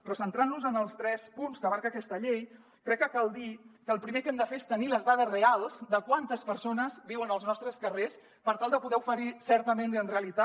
però centrant nos en els tres punts que abasta aquesta llei crec que cal dir que el primer que hem de fer és tenir les dades reals de quantes persones viuen als nostres carrers per tal de poder oferir certament i en realitat